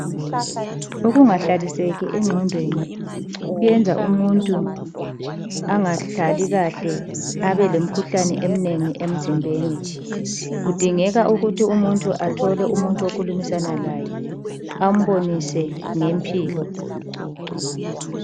Ukungahlaliseki engqondweni kwenza umuntu angahlali kahle abalemkhuhlane eminengi emzimbeni. Kudingeka ukuthi umuntu athole okhulumisana laye ambonise ngempilo.